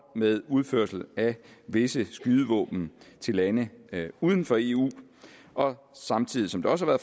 med udførsel af visse skydevåben til lande uden for eu og samtidig som det også har